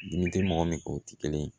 Dimi tɛ mɔgɔ min o tɛ kelen ye